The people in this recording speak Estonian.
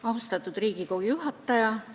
Austatud Riigikogu juhataja!